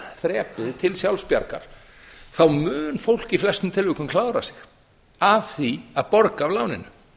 þrepið til sjálfsbjargar þá mun fólk í flestum tilvikum klára sig af því að borga af láninu